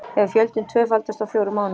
Hefur fjöldinn tvöfaldast á fjórum mánuðum